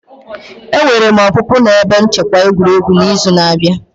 Enwere m opupu na ebe nchekwa egwuregwu n'izu na-abịa.